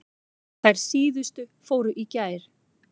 Þær síðustu fóru í gær.